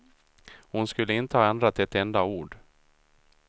Hon skulle inte ha ändrat ett enda ord.